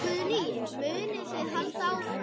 Guðný: Munið þið halda áfram?